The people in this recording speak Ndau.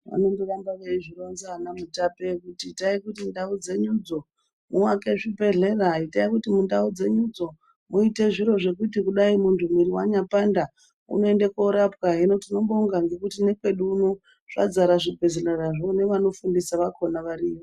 Vanoramba veizvironza ana mutape kuti itai kuti ndau dzenyudzo muake zvibhedhlera itai kuti mundau dzenyudzo muite zviro zvekuti kudai muntu mwiri yanyambopanda unoende korapwahino tinobonga nekwedu uno zvadzara zvibhedhlerazvo nevanofundisa vakhona varimwo.